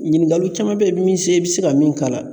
Ɲininkaliw caman bɛ ye min bɛ se i bɛ se ka min k'a la